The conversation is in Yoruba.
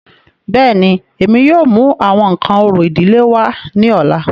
Bẹ́ẹ̀ni, Emi yóò mu awọn nkan orȯ idile wa ni ọla.